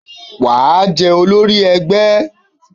Wà á jẹ́ olórí ẹgbẹ́!